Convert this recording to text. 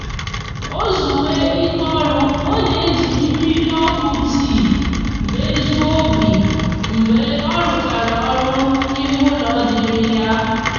ozuwe ike oru o n'eji miri oku tii mejuo obi mgbe oruchara oru ime ulo diri ya